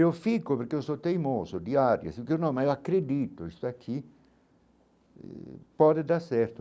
Eu fico porque eu sou teimoso, de áries, só que não mas acredito que isso aqui eh pode dar certo.